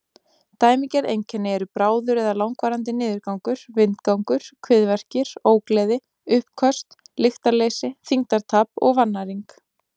Dæmigerð einkenni eru bráður eða langvarandi niðurgangur, vindgangur, kviðverkir, ógleði, uppköst, lystarleysi, þyngdartap og vannæring.